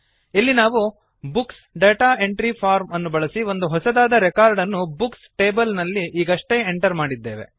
ಇಲ್ಲಿ ನಾವು books data entry form ಅನ್ನು ಬಳಸಿ ಒಂದು ಹೊಸದಾದ ರೆಕಾರ್ಡ್ ಅನ್ನು ಬುಕ್ಸ್ ಟೇಬಲ್ ನಲ್ಲಿ ಈಗಷ್ಟೇ ಎಂಟರ್ ಮಾಡಿದ್ದೇವೆ